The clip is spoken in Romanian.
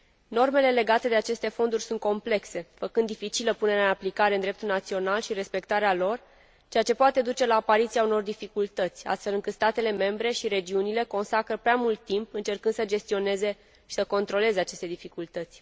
Normele legate de aceste fonduri sunt complexe, făcând dificilă punerea în aplicare în dreptul național și respectarea lor, ceea ce poate duce la apariția unor dificultăți, astfel încât statele membre și regiunile consacră prea mult timp încercând să gestioneze și să controleze aceste dificultăți.